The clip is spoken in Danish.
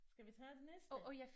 Skal vi tage den næste?